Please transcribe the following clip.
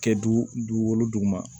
Kɛ du dugolo duguma